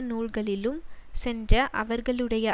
நூல்களிலும் சென்ற அவர்களுடைய